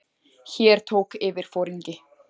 Hér tók yfirforingi